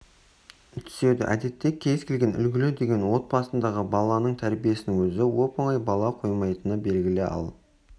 түседі әдетте кез келген үлгілі деген отбасындағы баланың тәрбиесінің өзі оп-оңай бола қоймайтыны белгілі ал